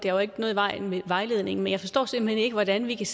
er jo ikke noget i vejen med vejledningen men jeg forstår simpelt hen ikke hvordan vi kan